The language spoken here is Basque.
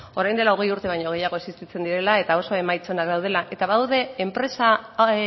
orain dela hogei urte baino gehiago existitzen direla eta oso emaitza onak daudela eta badaude enpresa